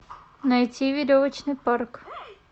найти веревочный парк